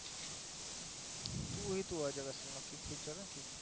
કોઈ એક હોય તો બતાવું